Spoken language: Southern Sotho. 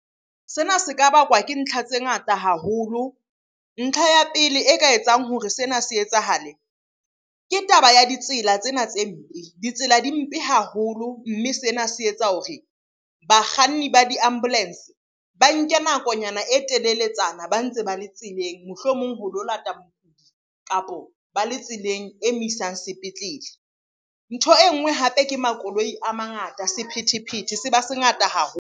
Sena se ka bakwa ke ntlha tse ngata haholo. Ntlha ya pele e ka etsang hore sena se etsahale ke taba ya ditsela tsena tse mpe. Ditsela di mpe haholo, mme sena se etsa hore bakganni ba di-ambulance ba nke nakonyana e teleletsana ba ntse ba le tseleng, mohlomong ho lo lata mokudi, kapo ba le tseleng e mo isang sepetlele. Ntho e nngwe hape ke makoloi a mangata, sephethephethe se ba se ngata haholo.